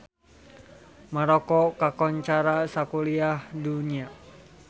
Maroko kakoncara sakuliah dunya